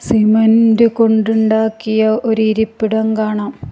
Cement കൊണ്ട് ഉണ്ടാക്കിയ ഒരു ഇരിപ്പിടം കാണാം.